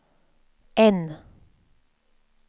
N